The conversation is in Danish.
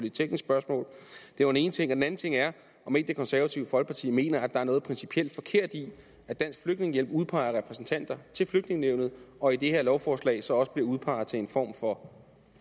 et teknisk spørgsmål det var den ene ting den anden ting er om ikke det konservative folkeparti mener at der er noget principielt forkert i at dansk flygtningehjælp udpeger repræsentanter til flygtningenævnet og i det her lovforslag så også bliver udpeget til en form for